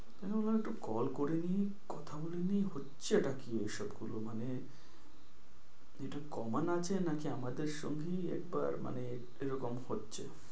আমি বললাম একটু call করে নিই। কথা বলে নিই হচ্ছেটা কি এসব গুলো মানে এটা common আছে নাকি আমাদের সঙ্গেই একবার মানে এরকম হচ্ছে।